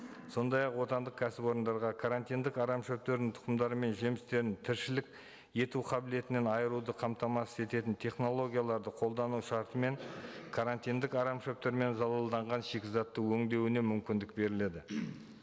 сондай ақ отандық кәсіпорындарға карантиндік арамшөптердің тұқымдары мен жемістерін тіршілік ету қабілетінен айыруды қамтамасыз ететін технологияларды қолдану шарты мен карантиндік арамшөптермен залалданған шикізатты өндеуіне мүмкіндік беріледі